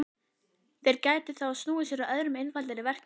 Þeir gætu þá snúið sér að öðrum og einfaldari verkefnum.